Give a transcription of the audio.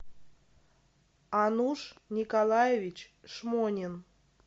ануш николаевич шмонин